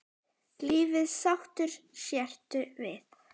Lífið sáttur sértu við.